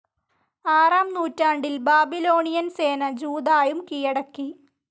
ആറാം നൂറ്റാണ്ടിൽ ബാബിലോണിയൻ സേന ജൂദായും കീഴടക്കി.